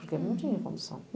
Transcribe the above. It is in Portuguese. Porque não tinha condição.